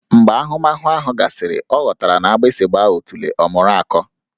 Mgbe ahụmahụ ahụ gasịrị, ọ ghọtara na agbụsị gbaa otulee, ọ mụrụ akọ